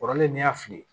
Kɔrɔlen n'i y'a fili